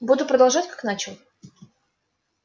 буду продолжать как начал